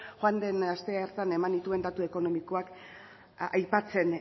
joan den astean eman nituen datu ekonomikoak aipatzen